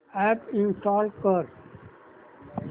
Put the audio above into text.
app install कर